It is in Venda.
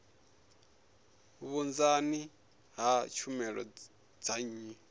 vhunzani ha tshumelo dza nnyi